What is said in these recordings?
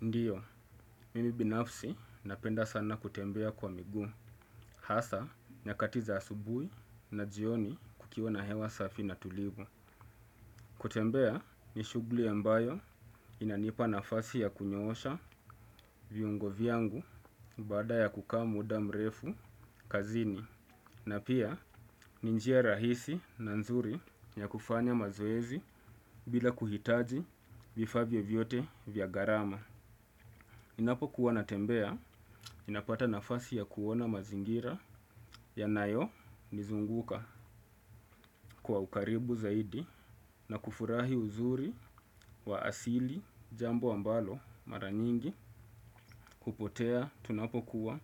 Ndiyo, mimi binafsi napenda sana kutembea kwa migu, hasa nyakati za asubui na jioni kukiwa na hewa safi na tulivu. Kutembea ni shugli yambayo inanipa nafasi ya kunyosha viungo viangu bada ya kuka muda mrefu kazini. Na pia ninjia rahisi na nzuri ya kufanya mazoezi bila kuhitaji vifa vyo vyote via garama. Ninapo kuwa natembea, ninapata nafasi ya kuwona mazingira yanayo nizunguka kwa ukaribu zaidi na kufurahi uzuri wa asili jambo ambalo mara nyingi hupotea tunapokuwa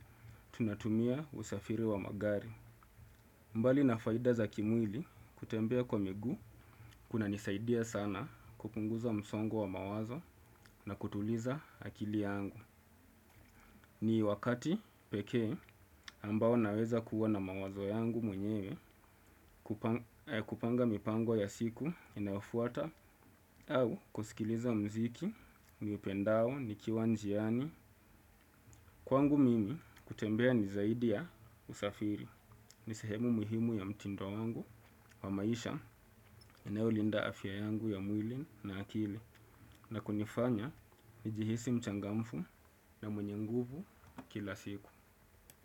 tunatumia usafiri wa magari. Mbali na faida za kimwili kutembea kwa migu kuna nisaidia sana kupunguza msongo wa mawazo na kutuliza akili yangu. Ni wakati peke ambao naweza kuwa na mawazo yangu mwenyewe kupanga mipango ya siku inayofuata au kusikiliza mziki, miu upendao, nikiwa njiani. Kwangu mimi kutembea ni zaidi ya usafiri, ni sehemu muhimu ya mtindo wangu wa maisha inaulinda afya yangu ya mwilin na akili na kunifanya ni jihisi mchangamfu na mwenye nguvu kila siku.